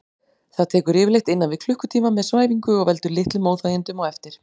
Það tekur yfirleitt innan við klukkutíma með svæfingu og veldur litlum óþægindum á eftir.